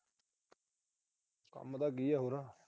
ਕੰਮ ਤਾਂ ਕੀ ਆ ਹੋਰ।